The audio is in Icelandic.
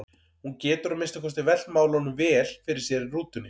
Hún getur að minnsta kosti velt málunum vel fyrir sér í rútunni.